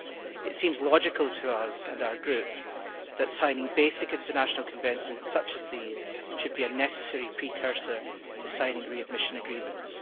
It seems logical to us and our group that signing basic international conventions such as these should be a necessary precursor to signing readmission agreements.